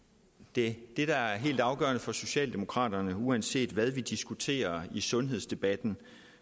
det der er helt afgørende for socialdemokraterne uanset hvad vi diskuterer i sundhedsdebatten